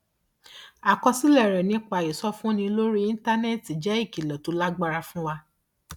àkọsílẹ rẹ nípa ìsọfúnni lórí íńtánẹẹtì jẹ ìkìlọ tó lágbára fún wa